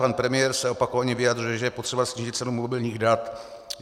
Pan premiér se opakovaně vyjadřuje, že je potřeba snížit cenu mobilních dat.